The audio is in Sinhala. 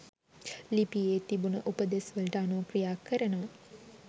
ලිපියේ තිබුන උපදෙස් වලට අනුව ක්‍රියා කරනවා